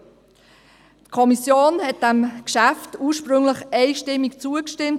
Wie ich bereits erwähnt habe, stimmte die Kommission diesem Geschäft ursprünglich einstimmig zu.